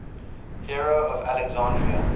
hero of alexandria